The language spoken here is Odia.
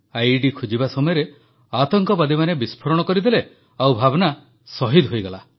ଆଇଇଡି ଖୋଜିବା ସମୟରେ ଆତଙ୍କବାଦୀମାନେ ବିସ୍ଫୋରଣ କରିଦେଲେ ଓ ଭାବନା ଶହୀଦ ହୋଇଗଲା